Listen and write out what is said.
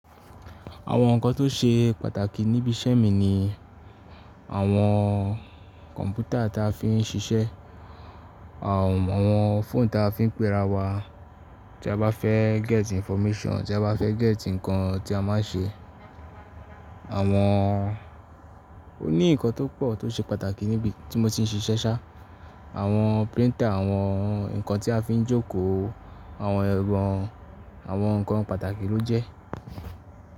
Àwọn ǹkan tó ṣe pàtàkì níbi iṣẹ́ mi ni àwọn kọ̀ǹpútà ta fi ń ṣiṣẹ́, àwọn fóònù ta fi ń péra wa tí a bá fẹ́ gẹ́tì information, tí a bá fẹ́ gẹ́tì ǹkan tí a má a ṣe. Àmo, ó ní ǹkan tó pọ̀ tó ṣe pàtàkì níbi tí mo ti ń ṣiṣẹ́ ṣá, àwọn printer, àwọn ǹkan tí a fi ń jókòó, àwọn ẹrọ àwọn ǹkan pàtàkì ló jẹ.